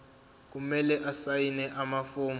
kumele asayine amafomu